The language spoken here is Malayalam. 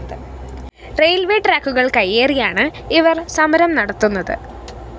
റെയിൽവേസ്‌ ട്രാക്കുകള്‍ കയ്യേറിയാണ് ഇവര്‍ സമരം നത്തുന്നത്